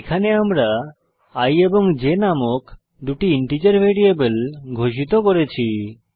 এখানে আমরা i এবং j নামক দুটি ইন্টিজার ভ্যারিয়েবল ঘোষিত করেছি